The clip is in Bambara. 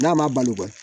N'a ma balo kɔni